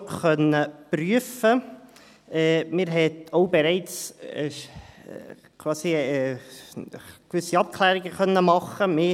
Man konnte auch bereits quasi gewisse Abklärungen machen.